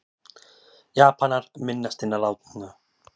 Japanar minnast hinna látnu